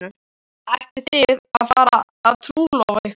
Ætlið þið að fara að trúlofa ykkur?